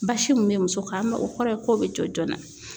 Basi min bɛ muso kan mɛ o kɔrɔ ye k'o bɛ jɔ joona.